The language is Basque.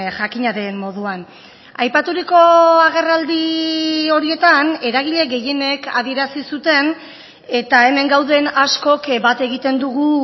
jakina den moduan aipaturiko agerraldi horietan eragile gehienek adierazi zuten eta hemen gauden askok bat egiten dugu